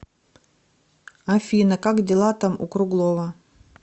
афина как дела там у круглова